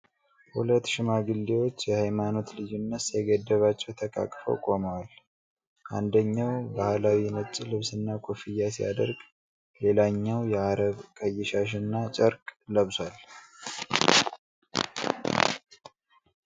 ሁለት ሽማግሌዎች የሃይማኖት ልዩነት ሳይገድባቸው ተቃቅፈው ቆመዋል ። አንደኛው ባህላዊ ነጭ ልብስና ኮፍያ ሲያደርግ፣ ሌላኛው የአረብ ቀይ ሻሽና ጨርቅ ለብሷል።